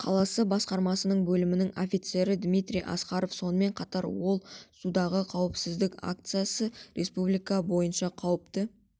қаласы басқармасының бөлімінің офицері дмитрий аскаров сонымен қатар ол судағы қауіпсіздік акциясы республика бойынша қауіпті